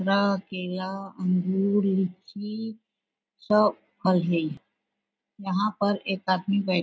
संतरा केला अंगूर लीची सब फल हे यहाँ पर एक आदमी बै--